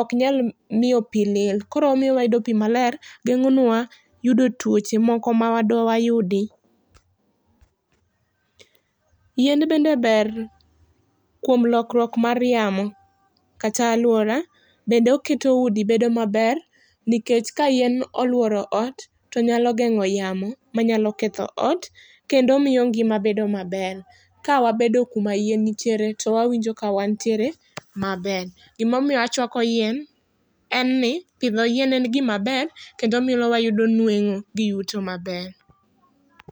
ok nya miyo pi lil koro omiyo wayudo pi maler geng'onwa yudo tuoche moko ma dwayudi. Yien bende ber kuom lokruok mar yamo, kata aluora bende oketo udi bedo maber nikech ka yien oluoro ot to geng'o yamo ma nyalo ketho ot kendo omiyo ngima bedo maber ka wabedo ku ma yien nitiere to wawinjo ka wan nitiere maber. gi ma omiyo achwako yien en ni pidho yien en gi maber kendo miyo wayudo yweto gi yuto.